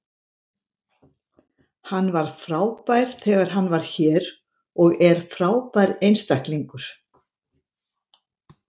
Litur rákarinnar sem myndaðist á plötunni var mælikvarði á gæði gullsins.